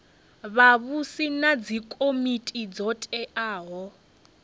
vhavhusi na dzikomiti dzo teaho